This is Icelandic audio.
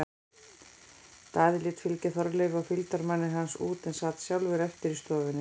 Daði lét fylgja Þorleifi og fylgdarmanni hans út en sat sjálfur eftir í stofunni.